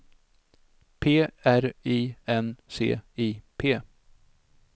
P R I N C I P